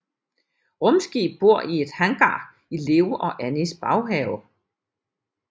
Rumskib bor i et hangar i Leo og Annies baghave